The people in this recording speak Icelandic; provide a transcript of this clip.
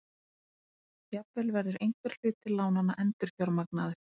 Jafnvel verður einhver hluti lánanna endurfjármagnaður